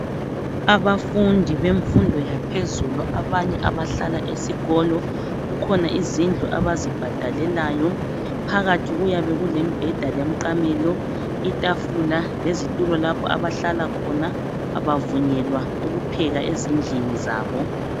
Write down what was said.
Abafundi bemfundo yaphezulu abanye abahlala esikolo kukhona izindlu abazibhadalelayo phakathi kuyabe kulembeda lemiqamelo itafula lezitulo lapha abahlala khona abavunyelwa ukupheka ezindlini zabo.